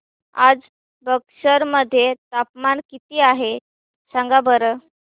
आज बक्सर मध्ये तापमान किती आहे सांगा बरं